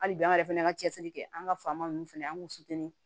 Hali bi an yɛrɛ fɛnɛ ka cɛsiri kɛ an ka faama ninnu fɛnɛ an kun